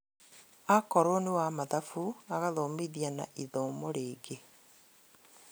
Akorwo nĩ wa mathabu agathomithia na ithomo rĩngĩ